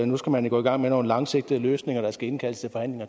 nu skal man gå i gang med nogle langsigtede løsninger der skal indkaldes